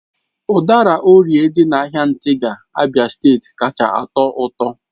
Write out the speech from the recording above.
Udara orie dị na ahịa ntigha, Abia steeti kacha atọ ụtọ